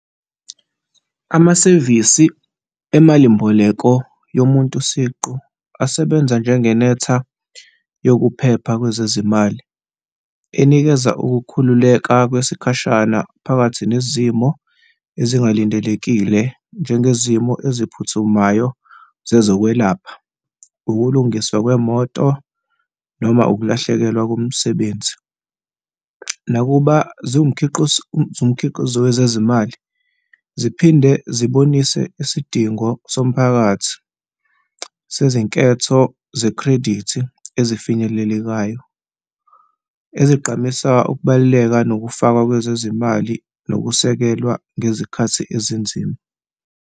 Amasevisi emalimboleko yomuntu siqu asebenza njengenetha yokuphepha kwezezimali, enikeza ukukhululeka kwesikhashana phakathi nezimo ezingalindelekile, njengezimo eziphuthumayo zezokwelapha, ukulungiswa kwemoto noma ukulahlekelwa komsebenzi. Nakuba ziwumkhiqizo zomkhiqizo wezezimali, ziphinde zibonise isidingo somphakathi sezinketho ze-credit ezifinyelelekayo, ezigqamisa ukubaluleka nokufakwa kwezezimali nokusekelwa ngezikhathi ezinzima.